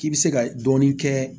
K'i bɛ se ka dɔɔni kɛ